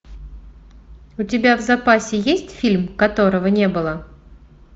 у тебя в запасе есть фильм которого не было